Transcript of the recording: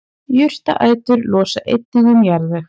Jurtaætur losa einnig um jarðveg.